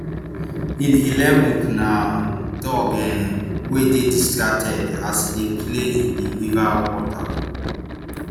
in eleven th na um dog um wey dey distracted as e dey play in di river water